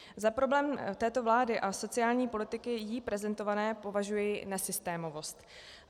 Za problém této vlády a sociální politiky jí prezentované považuji nesystémovost.